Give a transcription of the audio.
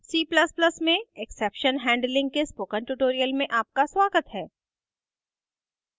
c ++ में exception handling के spoken tutorial में आपका स्वागत है